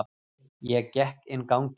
Ég gekk inn ganginn.